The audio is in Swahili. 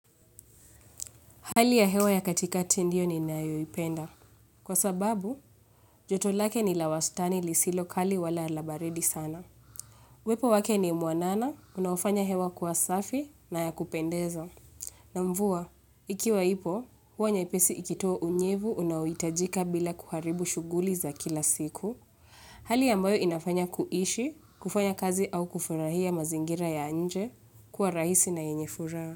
Hali ya hewa ya katikati ndio ninayoipenda. Kwa sababu joto lake ni la wastani lisilo kali wala la baridi sana. Upepo wake ni mwanana unaofanya hewa kuwa safi na ya kupendeza. Na mvua ikiwa ipo huwa nyepesi ikitoa unyevu unao hiitajika bila kuharibu shughuli za kila siku. Hali ambayo inafanya kuishi kufanya kazi au kufurahia mazingira ya nje kuwa rahisi na yenye furaha.